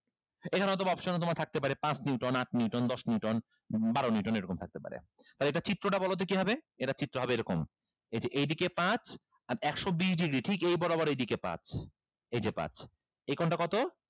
এইখানে হয়তোবা option এ তোমার থাকতে পারে পাঁচ neuton আট neuton দশ neuton বারো neuton এরকম থাকতে পারে তাহলে এটার চিত্রটা বলো তো কি হবে এটার চিত্র হবে এরকম এই যে এইদিকে পাঁচ আর একশো বিশ degree ঠিক এই বরাবর এইদিকে পাঁচ এই যে পাঁচ এই কোনটা কত